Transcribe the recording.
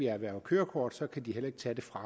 har erhvervet kørekort så kan det heller ikke tages fra